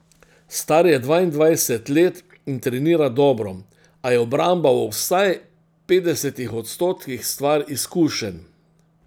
Star je dvaindvajset let in trenira dobro, a je obramba v vsaj petdesetih odstotkih stvar izkušenj.